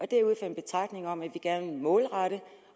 det er ud fra en betragtning om at vi gerne vil målrette